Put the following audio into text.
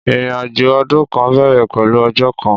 Ìrinàjó ọ̀dún kan bẹẹrẹ pẹlú ọ̀jọ́ kan